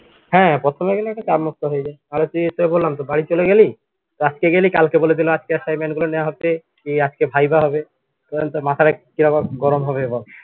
হ্যা প্রথমে গেলে একটা চাপমুক্ত হয়ে যায় তুই বললাম তো বাড়ি চলে গেলি আজকে গেলি কালকে বলে দিলো আজকে assignment গুলো নেয়া হবে আজকে viva হবে